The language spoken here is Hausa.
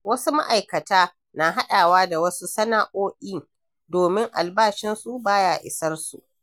Wasu ma’aikata na haɗawa da wasu sana’o’in domin albashinsu ba ya isarsu.